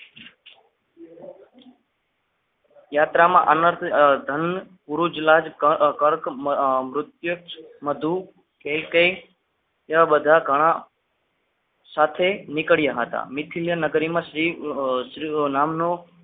યાત્રામાં અનર્થધધાન પૂરું જ લાજ કર્ક નૃત્ય કઈ કઈ એવા બધા ઘણા સાથે નીકળ્યા હતા નિખિલ્ય નગરીમાં શ્રી નામનું